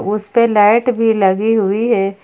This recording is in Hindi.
उसे पे लाइट भी लगी हुई है।